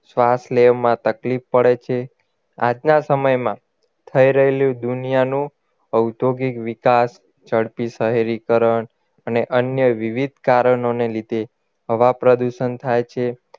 શ્વાસ લેવામાં તકલીફ પડે છે આજના સમયમાં થઈ રહેલુ દુનિયાનું ઔદ્યોગિક વિકાસ ઝડપી શહેરીકરણ અને અન્ય વિવિધ કારણોને લીધે હવા પ્રદુષણ થાય છે